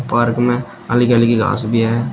Park में हल्की-हल्की घास भी है।